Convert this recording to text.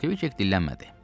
Kvik dillənmədi.